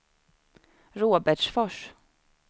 Robertsfors